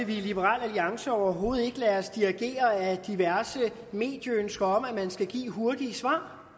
vi i liberal alliance overhovedet ikke lade os dirigere af diverse medieønsker om at man skal give hurtige svar